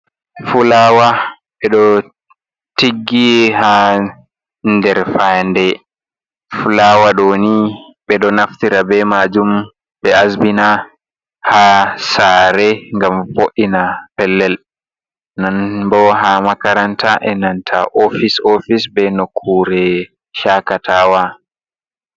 Fulaawa ɓe ɗo tiggi haa nderfayande fulaawa ɗo nii ɓe do naftira bee maajum ɓe asbina haa saare ngam gam vo’'ina pellel non boo haa makaranta e nanta oofis oofise bee nokkuure shakataawa.